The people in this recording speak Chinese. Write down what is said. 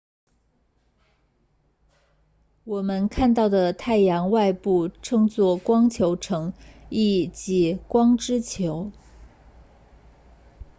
我们看到的太阳外部称作光球层意即光之球